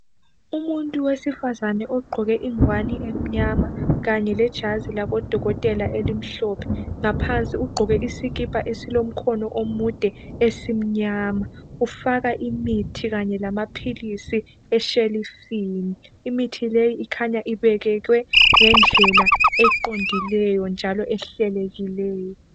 Umuntu wesifazane ogqoke ingwani emnyama, kanye lejazi labodokotela elimhlophe. Ngaphansi ugqoke isikipa esilomkhono omude esimnyama. Ufaka imithi kanye lamaphilisi eshelufini. Imithi leyi ikhanya ibekwe ngendlela eqondileyo njalo ehlelekileyo.